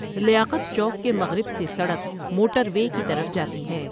لیاقت چوک کے مٖغرب سے سڑک موٹر وے کی طرف جاتی ہے۔